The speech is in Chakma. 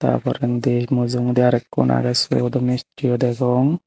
ta porendi mujungedi aro ekkun agey siyot do mistio degong.